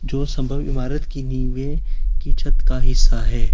दो संभव इमारत की नींव है कि छत का हिस्सा है।